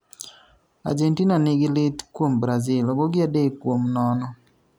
Argentina nigi lit kuom Brazil, ogogi adek kumo nono